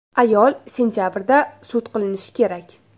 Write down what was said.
Ayol sentabrda sud qilinishi kerak.